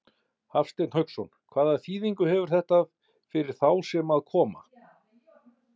Hafsteinn Hauksson: Hvaða þýðingu hefur þetta fyrir þá sem að koma?